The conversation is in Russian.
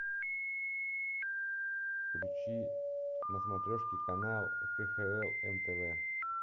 включи на смотрешке канал кхл нтв